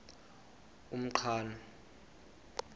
umqhano